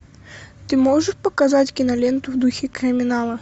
ты можешь показать киноленту в духе криминала